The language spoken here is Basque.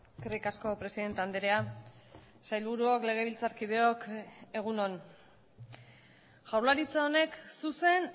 eskerrik asko presidente andrea sailburuok legebiltzarkideok egun on jaurlaritza honek zuzen